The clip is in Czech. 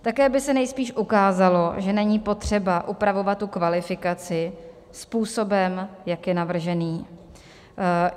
Také by se nejspíš ukázalo, že není potřeba upravovat tu kvalifikaci způsobem, jak je navržený.